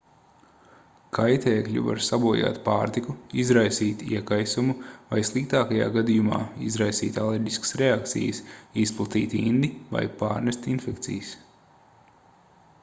kaitēkļi var sabojāt pārtiku izraisīt iekaisumu vai sliktākajā gadījumā izraisīt alerģiskas reakcijas izplatīt indi vai pārnest infekcijas